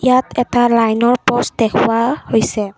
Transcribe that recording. ইয়াত এটা লাইন ৰ পোষ্ট দেখুওৱা হৈছে।